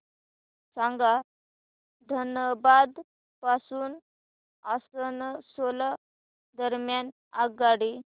सांगा धनबाद पासून आसनसोल दरम्यान आगगाडी